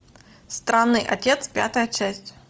странный отец пятая часть